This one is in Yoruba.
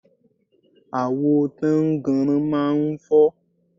Àwo tánnganran máa ń fọ́.